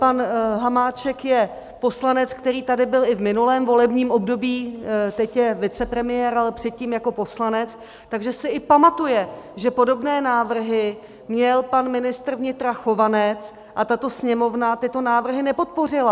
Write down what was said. Pan Hamáček je poslanec, který tady byl i v minulém volebním období, teď je vicepremiér, ale předtím jako poslanec, takže si i pamatuje, že podobné návrhy měl pan ministr vnitra Chovanec a tato Sněmovna tyto návrhy nepodpořila.